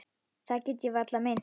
Það get ég varla meint.